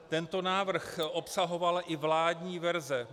Tento návrh obsahovala i vládní verze.